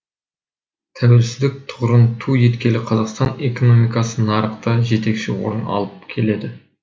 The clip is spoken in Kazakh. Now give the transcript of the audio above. тәуелсіздік тұғырын ту еткелі қазақстан экономикасы нарықта жетекші орын алып келеді